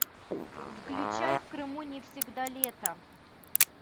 включай в крыму не всегда лето